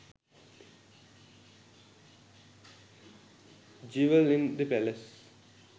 jewell in the palace